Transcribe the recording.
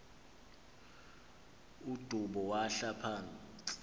udubo yahla phantsi